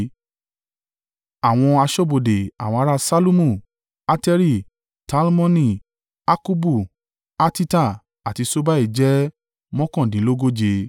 Àwọn aṣọ́bodè. Àwọn ará Ṣallumu, Ateri, Talmoni, Akkubu, Hatita àti Ṣobai jẹ́ mọ́kàndínlógóje (139).